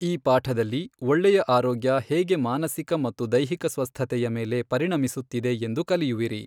ಈ ಪಾಠದಲ್ಲಿ ಒಳ್ಳೆಯ ಆರೋಗ್ಯ ಹೇಗೆ ಮಾನಸಿಕ ಮತ್ತು ದೈಹಿಕ ಸ್ವಸ್ಥತೆಯ ಮೇಲೆ ಪರಿಣಮಿಸುತ್ತಿದೆ ಎಂದು ಕಲಿಯುವಿರಿ.